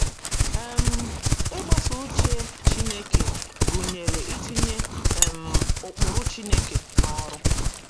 um Ịgbaso uche Chineke gụnyere itinye um ụkpụrụ Chineke n’ọrụ.